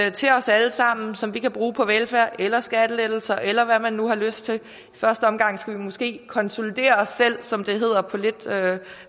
ind til os alle sammen som vi kan bruge på velfærd eller skattelettelser eller hvad man nu har lyst til i første omgang skulle vi måske konsolidere os selv som det hedder på lidt tørt